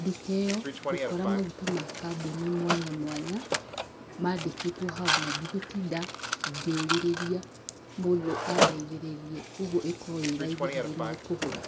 nduka ĩyo ngukora maguta na kamboni mwanya mwanya mandĩkĩtwo hau na ndigũtinda ngĩũrĩrĩria mũndũ andithĩrĩrie ũguo ĩkoragwo ĩraithi harĩ niĩ kũgũra.